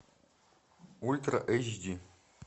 ультра эйч ди